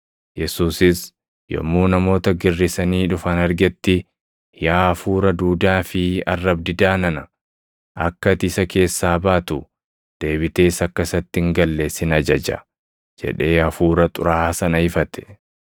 Yesuusis yommuu namoota girrisanii dhufan argetti, “Yaa hafuura duudaa fi arrab-didaa nana, akka ati isa keessaa baatu, deebitees akka isatti hin galle sin ajaja” jedhee hafuura xuraaʼaa sana ifate.